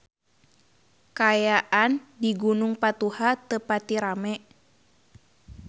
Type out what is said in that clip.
Kaayaan di Gunung Patuha teu pati rame